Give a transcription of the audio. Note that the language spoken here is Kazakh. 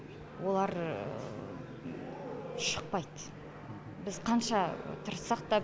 олар шықпайды біз қанша тырыссақ та